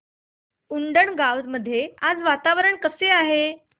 उंडणगांव मध्ये आज वातावरण कसे आहे